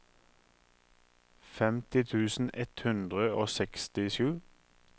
femti tusen ett hundre og sekstisju